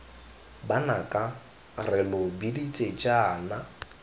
banaka re lo biditse jaana